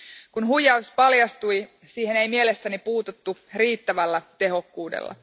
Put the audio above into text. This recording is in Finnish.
Kun huijaus paljastui, siihen ei mielestäni puututtu riittävällä tehokkuudella.